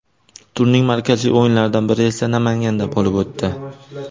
Turning markaziy o‘yinlaridan biri esa Namanganda bo‘lib o‘tdi.